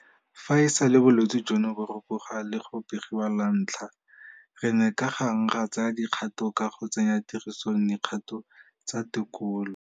Fa e sale bolwetse jono bo rupoga le go begiwa lwantlha re ne ka gang ra tsaya dikgato ka go tsenya tirisong dikgato tsa tekolo.